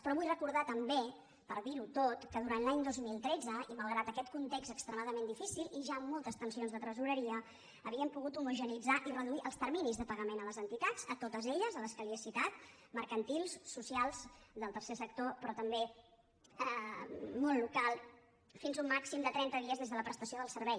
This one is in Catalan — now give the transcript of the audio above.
però vull recordar també per dir·ho tot que durant l’any dos mil tretze i malgrat aquest context extremadament difícil i ja amb moltes tensions de tresoreria havíem pogut homogeneïtzar i reduir els terminis de pagament a les entitats a totes elles a les que li he citat mercantils socials del ter·cer sector però també món local fins un màxim de trenta dies des de la prestació del servei